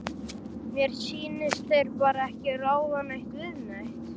Mér sýnist þeir bara ekki ráða neitt við neitt.